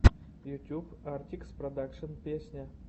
ютюб артикс продакшн песня